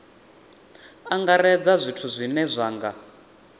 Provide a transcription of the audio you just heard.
angaredza zwithu zwine zwa nga